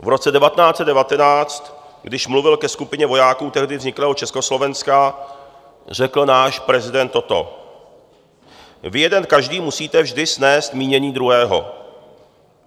V roce 1919, když mluvil ke skupině vojáků tehdy vzniklého Československa, řekl náš prezident toto: "Vy jeden každý musíte vždy snést mínění druhého.